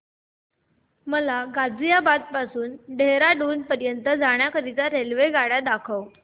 मला गाझियाबाद पासून ते देहराडून पर्यंत जाण्या करीता रेल्वेगाडी दाखवा